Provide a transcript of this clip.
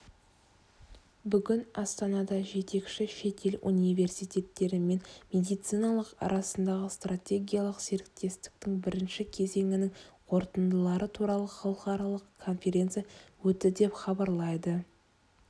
бүгін астанада жетекші шетел университеттері мен медициналық арасындағы стратегиялық серіктестіктің бірінші кезеңінің қорытындылары туралы халықаралық конференция өтті деп хабарлайды